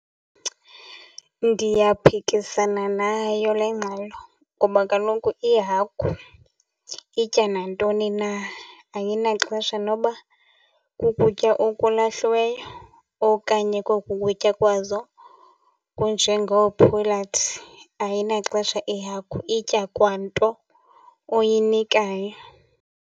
Ndiyaphikisana nayo le ngxelo ngoba kaloku ihagu itya nantoni na, ayinaxesha noba kukutya okulahliweyo okanye koku kutya kwazo kunjengoophulathi. Ayinaxesha ihagu, itya kwanto oyinikayo.